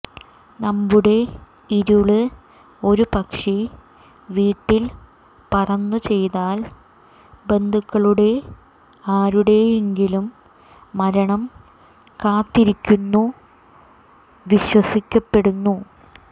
നമ്മുടെ ഇരുള് ഒരു പക്ഷി വീട്ടിൽ പറന്നു ചെയ്താൽ ബന്ധുക്കളുടെ ആരുടെയെങ്കിലും മരണം കാത്തിരിക്കുന്നു വിശ്വസിക്കപ്പെടുന്നു